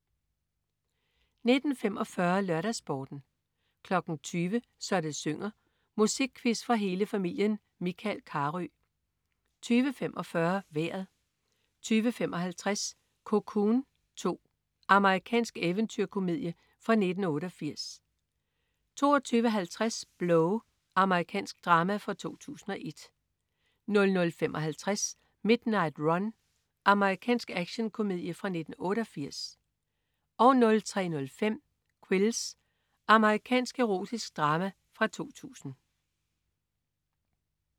19.45 LørdagsSporten 20.00 Så det synger. Musikquiz for hele familien. Michael Carøe 20.45 Vejret 20.55 Cocoon 2. Amerikansk eventyrkomedie fra 1988 22.50 Blow. Amerikansk drama fra 2001 00.55 Midnight Run. Amerikansk actionkomedie fra 1988 03.05 Quills. Amerikansk erotisk drama fra 2000